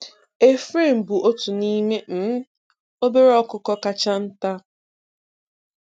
A-frame bụ otu n'ime um obere ọkụkọ kacha nta.